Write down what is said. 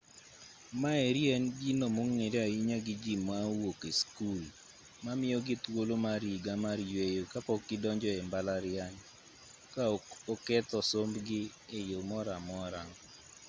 maeri en gino mong'ere ahinya gi ji ma owuok sikul mamiyogi thuolo mar higa mar yueyo ka pok gidonjo e mbalariany ka ok oketho sombgi e yo moro amora